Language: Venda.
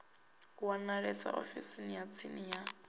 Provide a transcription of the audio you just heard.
wanalea ofisini ya tsini ya